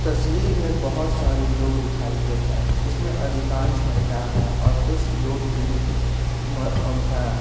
तस्वीर में बहोत सारे लोग दिखाई दे रहे हैं जिसमें अधिकाश महिलाएं हैं और कुछ लोग भी म अ हैं।